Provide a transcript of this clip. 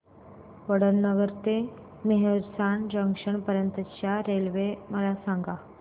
वडनगर ते मेहसाणा जंक्शन पर्यंत च्या रेल्वे मला सांगा